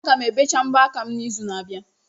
Aga m ebecha mbọ aka m n'izu n'abịa.